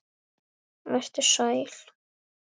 Vertu sæl.